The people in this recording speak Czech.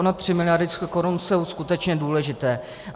Ony tři miliardy korun jsou skutečně důležité.